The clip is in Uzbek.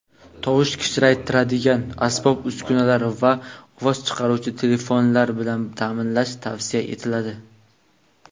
tovush kuchaytiradigan asbob-uskunalar va ovoz chiqaruvchi telefonlar bilan ta’minlash tavsiya etiladi.